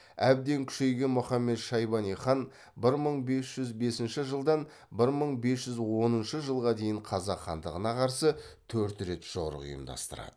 әбден күшейген мұхаммед шайбани хан бір мың бес жүз бесінші жылдан бір мың бес жүз оныншы жылға дейін қазақ хандығына қарсы төрт рет жорық ұйымдастырады